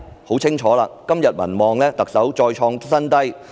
很清楚，特首的民望再創新低。